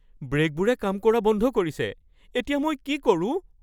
ব্ৰেকবোৰে কাম কৰা বন্ধ কৰিছে। এতিয়া, মই কি কৰোঁ?